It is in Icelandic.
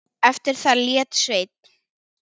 Eftir það lét Sveinn